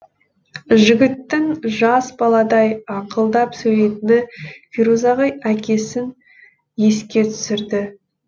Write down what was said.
жігіттің жас баладай аңқылдап сөйлейтіні ферузаға әкесін еске түсірді